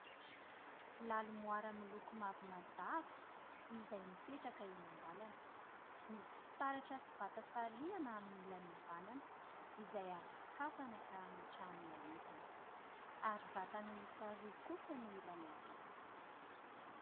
Lalo moara miloko mavo mazava izay mipetraka eny an-dalana, misy fitaratra sy vata sariana amin'ny ilan'ny avanana; izay azo sokafana ka hametrahana entana ary vata-miisa roa kosa ny ilan'ny avia.